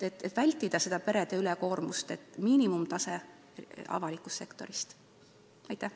Et vältida perede ülekoormust, peaks avalik sektor katma miinimumtaseme.